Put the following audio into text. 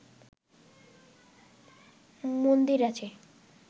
মন্দির আছে